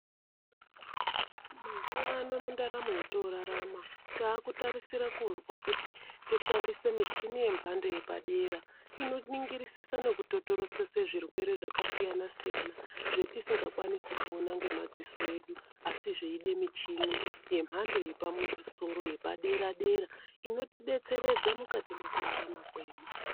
Mazuwa no mundaramo yotorarama takutarisira kuzwa kuti toshandisa michini yemhando yepadera inonongirisisa nekutotorotesa zvirwere zvakasiyana siyana. Zvetisingakwanisi kuona ngemadziso edu asi zveida muchini yemhando yepamusoro yepadera dera inotidetseredza mukati mwekurarama kwedu.